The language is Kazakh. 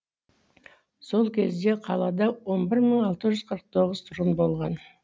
сол кезде қалада он бір мың алты жүз қырық тоғыз тұрғын болған